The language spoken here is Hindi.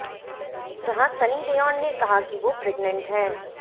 जहां सनी लियोन ने कहा कि वो प्रेगनेंट हैं